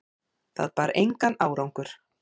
Það bar engan árangur.